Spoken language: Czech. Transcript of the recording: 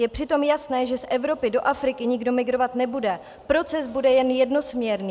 Je přitom jasné, že z Evropy do Afriky nikdo migrovat nebude, proces bude jen jednosměrný.